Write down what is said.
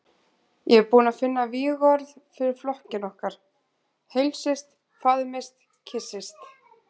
Ég er búinn að finna vígorð fyrir flokkinn okkar: Heilsist, faðmist, kyssist.